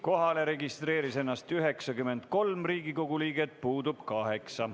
Kohalolijaks registreeris ennast 93 Riigikogu liiget, puudub 8.